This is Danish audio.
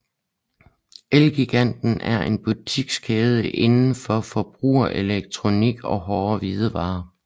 Elgiganten er en butikskæde inden for forbrugerelektronik og hårde hvidevarer